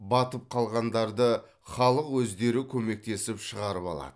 батып қалғандарды халық өздері көмектесіп шығарып алады